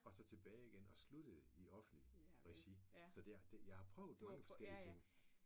Og så tilbage igen og sluttede i offentligt regi. Så det er det jeg har prøvet mange forskellige ting